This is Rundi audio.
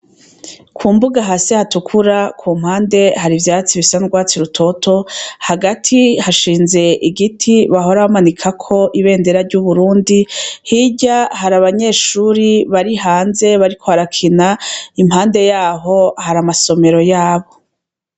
Ku mbuga hasi hatukura ku mpande hari ivyatsi bisanzwatsi rutoto hagati hashinze igiti bahorabamanikako ibendera ry'uburundi hirya hari abanyeshuri bari hanze bariko arakina impande yaho hari amasomero yabo.